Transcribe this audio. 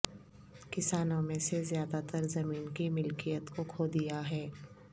کسانوں میں سے زیادہ تر زمین کی ملکیت کو کھو دیا ہے